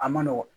A ma nɔgɔn